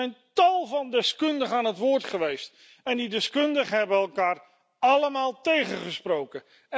Er zijn tal van deskundigen aan het woord geweest en die deskundigen hebben elkaar allemaal tegengesproken.